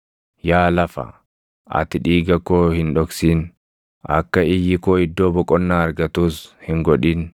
“Yaa lafa, ati dhiiga koo hin dhoksin; akka iyyi koo iddoo boqonnaa argatus hin godhin!